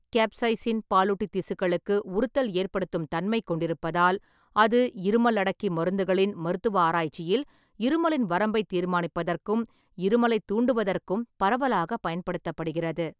Capsaicin பாலூட்டித் திசுக்களுக்கு உறுத்தல் ஏற்படுத்தும் தன்மை கொண்டிருப்பதால், அது இருமல் அடக்கி மருந்துகளின் மருத்துவ ஆராய்ச்சியில் இருமலின் வரம்பைத் தீர்மானிப்பதற்கும் இருமலைத் தூண்டுவதற்கும் பரவலாகப் பயன்படுத்தப்படுகிறது.